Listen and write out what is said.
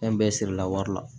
Fɛn bɛɛ sirila wari la